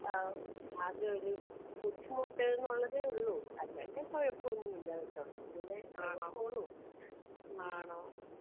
ഏഹ് ആകെ ഒരു ബുദ്ധിമുട്ട് ന്ന് ഉള്ളതെ ഒള്ളു അല്ലാതെ കൊഴപ്പം ഒന്നും ഇല്ല കേട്ടോ അങ്ങനെ പോണു ഉം.